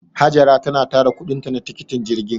Hajara tana tara kuɗinta na tikitin jirgin.